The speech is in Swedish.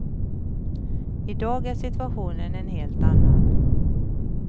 I dag är situationen en helt annan.